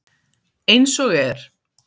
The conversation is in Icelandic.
Eins og er.